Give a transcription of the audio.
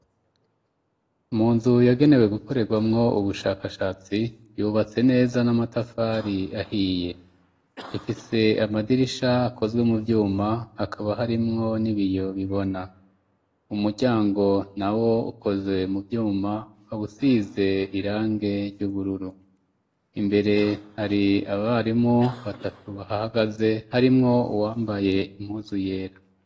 Munzu yagenewe gukorerwamwo ubushakashatsi, yubatse neza n'amatafari ahiye, ifise amadirisha akozwe mu vyuma ,hakaba harimwo n'ibiyo bibona, umuryango na wo ukozwe mu vyuma ukabusize irangi ry'ubururu ,imbere hari abarimu batatu bahagaze harimwo uwambaye impuzu yera.